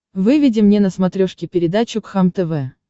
выведи мне на смотрешке передачу кхлм тв